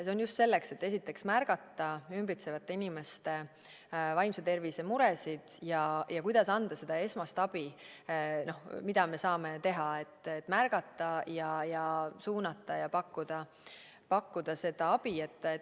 See on just selleks, et märgata ümbritsevate inimeste vaimse tervise muresid, kuidas anda seda esmast abi, mida me saame teha, et märgata ja suunata ja abi pakkuda.